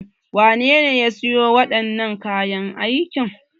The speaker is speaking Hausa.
Wane ne ya sayo wadanan nan kayan aikin?